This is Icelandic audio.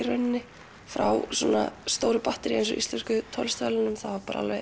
frá jafn stóru batteríi og Íslensku tónlistarverðlaununum var alveg